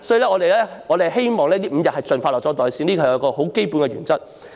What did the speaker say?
因此，我們希望5天侍產假能夠盡快"落袋"，這是最基本的原則。